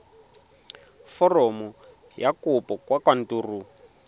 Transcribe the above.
foromo ya kopo kwa kantorong